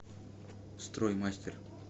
строй мастер